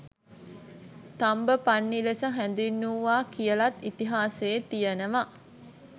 තම්බපන්ණි ලෙස හැඳුන්වුවා කියලත් ඉතිහාසයේ තියනවා.